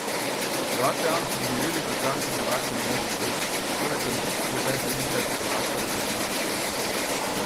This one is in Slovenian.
Hrvaško javnost so pomirili predstavniki Hrvaške nogometne zveze: "Šlo je za rutinski pregled trening centra hrvaške reprezentance.